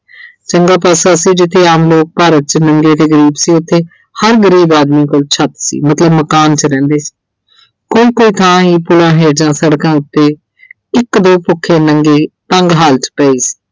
ਚੰਗਾ ਪਾਸਾ ਸੀ ਜਿੱਥੇ ਆਮ ਲੋਕ ਭਾਰਤ 'ਚ ਨੰਗੇ ਤੇ ਗਰੀਬ ਸੀ। ਉੱਥੇ ਹਰ ਗਰੀਬ ਆਦਮੀ ਕੋਲ ਛੱਤ ਸੀ। ਮਕਾਨ 'ਚ ਰਹਿੰਦੇ ਸੀ। ਕੋਈ ਕੋਈ ਥਾਂ ਹੀ ਪੁਲਾਂ ਹੇਠ ਜਾਂ ਸੜਕਾਂ ਉੱਤੇ ਇੱਕ ਦੋ ਭੁੱਖੇ ਨੰਗੇ ਤੰਗ ਹਾਲਤ 'ਚ ਪਏ ਸੀ।